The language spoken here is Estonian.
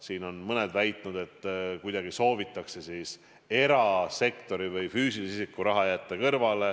Siin on mõned väitnud, et soovitakse jätta erasektori või füüsilise isiku raha kuidagi kõrvale.